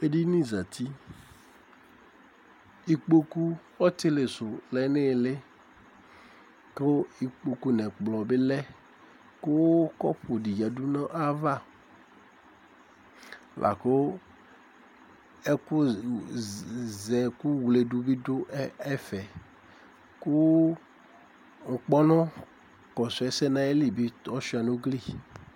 Edinizǝti, ikpoku ɔtɩlɩsu lɛ nʋ ili, kʋ ikpoku nʋ ɛkplɔ bɩ alɛ, kʋ kɔpʋ di yǝdʋ nʋ ayava Laku ɛkʋzɛkʋ wledu bɩ dʋ ɛfɛ, kʋ ŋkpɔnʋ kɔsʋ ɛsɛ nʋ ayili bi ɔsʋɩa nʋ ugli ɛtʋ